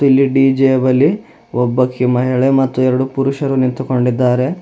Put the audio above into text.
ಇಲ್ಲಿ ಡಿ_ಜೆ ಯ ಬಳಿ ಒಬ್ಬಕಿ ಮಹಿಳೆ ಮತ್ತು ಎರಡು ಪುರುಷರು ನಿಂತುಕೊಂಡಿದ್ದಾರೆ.